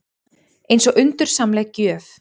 Eins og undursamleg gjöf.